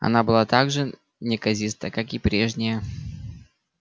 она была так же неказиста как и прежняя